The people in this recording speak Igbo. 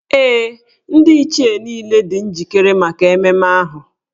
Ee, Ndị Ichie niile dị njikere maka ememme ahụ.